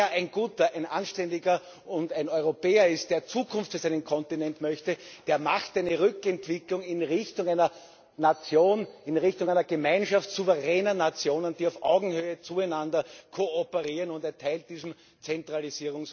Und wer ein guter, ein anständiger Europäer und ein Europäer ist, der Zukunft für seinen Kontinent möchte, der macht eine Rückwendung in Richtung einer Nation, in Richtung einer Gemeinschaft souveräner Nationen, die auf Augenhöhe miteinander kooperieren, und erteilt diesem Zentralisierungswahn eine Absage.